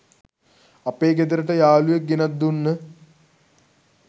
අපේ ගෙදරට යාලුවෙක් ගෙනත් දුන්න